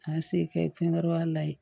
K'an se kɛ fɛn wɛrɛ la yen